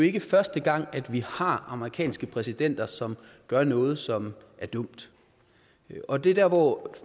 ikke er første gang at vi har amerikanske præsidenter som gør noget som er dumt og det er der hvor